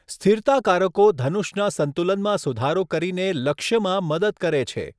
સ્થિરતાકારકો ધનુષના સંતુલનમાં સુધારો કરીને લક્ષ્યમાં મદદ કરે છે.